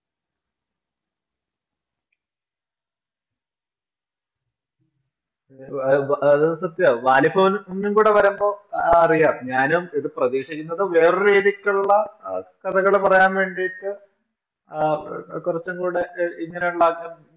അതായത് അത് സത്യമാ വാലിബൻ കൂടെ വരുമ്പോൾ വരുമ്പോൾ അറിയാം ഞാനും ഇത് പ്രതീക്ഷിക്കുന്നത് വേറൊരു രീതിക്കുള്ള കഥകൾ പറയാൻ വേണ്ടിയിട്ട് കുറച്ചും കൂടെ ഇങ്ങനെയുള്ള